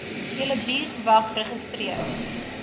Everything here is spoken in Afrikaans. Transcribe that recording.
julle buurtwag geregistreer